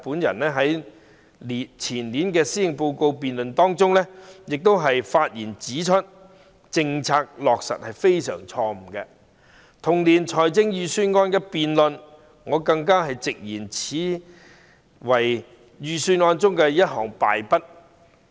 在前年的施政報告辯論中，我亦發言指出該政策實在非常錯誤；在同年的預算案辯論中，我更直言此為預算案的敗筆。